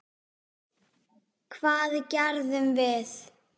Hvað gerðum við?